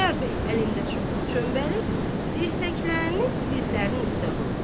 Xudayar bəy əlində çubuq çöməli, dirsəklərini dizlərinin üstə qoydu.